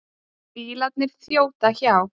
Bílarnir þjóta hjá.